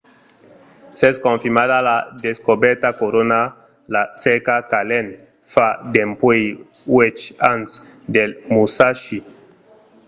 s'es confirmada la descobèrta corona la cerca qu'allen fa dempuèi uèch ans del musashi